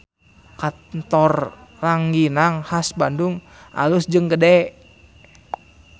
Kantor Ranginang Khas Bandung alus jeung gede